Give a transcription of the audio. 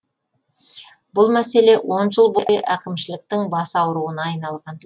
бұл мәселе он жыл бойы әкімшіліктің бас ауруына айналған